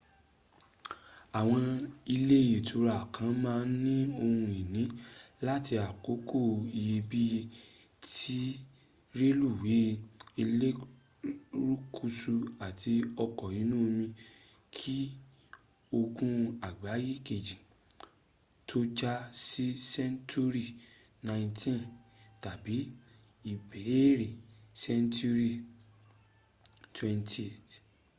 àwọn ilé ìtura kan ma n ní ohun ìní láti àkókò iyebíye ti relúwé elérúkú àtì ọkọ̀ inú omi ki ogun àgbáyé kejì tó jà ní senturi 19th tàbí ìbẹ̀rẹ̀ senturi 20th